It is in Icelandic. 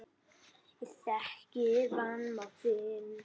Ég þekki vanmátt þinn.